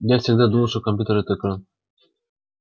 я всегда думала что компьютер это экран